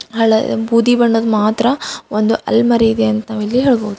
ಹಳೆಯ ಬೂದಿ ಬಣ್ಣದ್ ಮಾತ್ರ ಒಂದ್ ಆಲಮರಿ ಇದೆ ಅಂತ ನಾವಿಲ್ಲಿ ಹೇಳಬಹುದು.